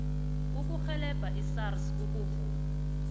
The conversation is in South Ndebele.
ukurhelebha isars ukuvuma